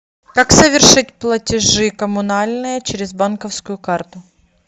как совершить платежи коммунальные через банковскую карту